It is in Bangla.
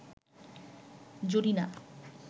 জরিনা